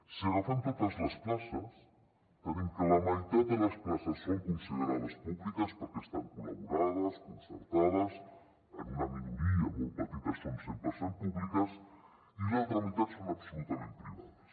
si agafem totes les places tenim que la meitat de les places són considerades públiques perquè estan col·laborades concertades en una minoria molt petita són cent per cent públiques i l’altra meitat són absolutament privades